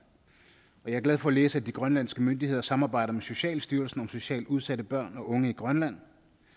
jeg er glad for at læse at de grønlandske myndigheder samarbejder med socialstyrelsen om socialt udsatte børn og unge i grønland